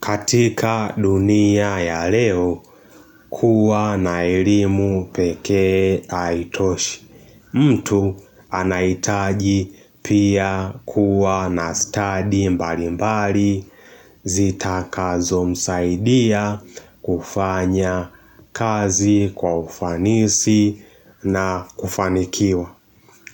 Katika dunia ya leo kuwa naelimu pekee aitoshi. Mtu anaitaji pia kuwa na study mbali mbali zitakazo msaidia kufanya kazi kwa ufanisi na kufanikiwa.